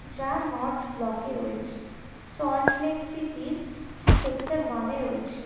যা North Block -এ রয়েছে। সল্ট লেক সিটি -র সেক্টর ওয়ান -এ রয়েছে।